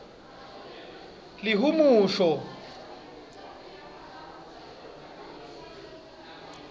lihumusho